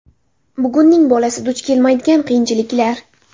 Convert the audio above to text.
Bugunning bolasi duch kelmaydigan qiyinchiliklar .